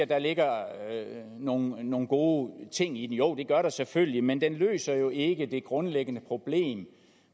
der ligger nogle nogle gode ting i den jo det gør der selvfølgelig men den løser jo ikke det grundlæggende problem